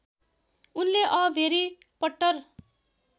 उनले अ भेरि पट्टर